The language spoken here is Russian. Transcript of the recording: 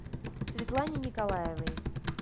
светлане николаевой